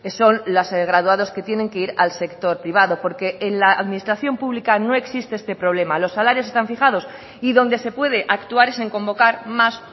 son los graduados que tienen que ir al sector privado porque en la administración pública no existe este problema los salarios están fijados y donde se puede actuar es en convocar más